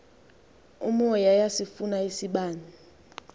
umoya iyasifuna isibane